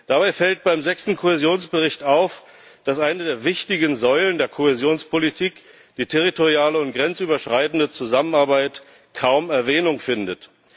Dabei fällt beim sechsten Kohäsionsbericht auf, dass eine der wichtigen Säulen der Kohäsionspolitik die territoriale und grenzüberschreitende Zusammenarbeit kaum Erwähnung findet.